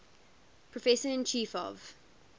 professor and chief of